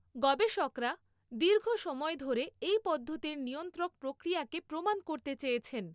গবেষকরা দীর্ঘ সময় ধরে এই পদ্ধতির নিয়ন্ত্রক প্রক্রিয়াকে প্রমাণ করতে চেয়েছেন।